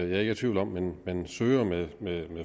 er i tvivl om man søger med